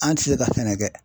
An' ti se ka sɛnɛ kɛ.